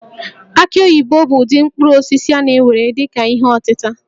Aki oyibo bụ ụdị mkpụrụ osisi a na-ewere dị ka ihe ọtịta